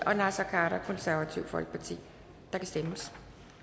og naser khader og der kan stemmes